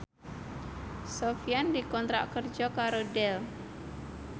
Sofyan dikontrak kerja karo Dell